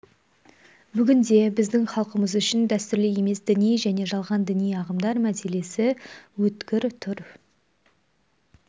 бүгінде біздің халқымыз үшін дәстүрлі емес діни және жалған діни ағымдар мәселесі өткір тұр